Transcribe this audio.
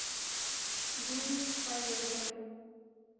юность поехали